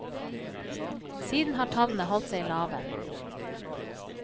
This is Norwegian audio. Siden har tallene holdt seg lave.